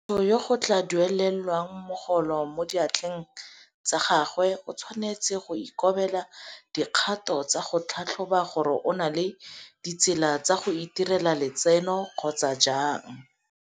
Motho yo go tla duelelwang mogolo mo diatleng tsa gagwe o tshwanetse go ikobela dikgato tsa go tlhatlhoba gore o na le ditsela tsa go itirela letseno kgotsa jang.